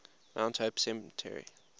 mount hope cemetery